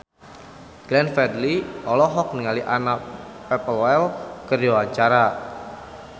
Glenn Fredly olohok ningali Anna Popplewell keur diwawancara